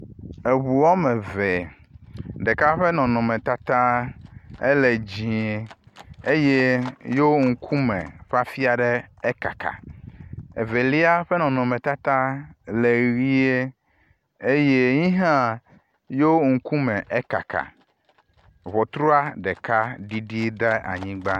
Eŋu eme eve, ɖeka ƒe nɔnɔmetata ele dziẽ eye yo ŋkume ƒe afi ɖe ekaka. Evelia ƒe nɔnɔmetata le ʋie eye ye hã yo ŋkume ekaka. Ŋutrua ɖeka ɖiɖi ɖe anyigba.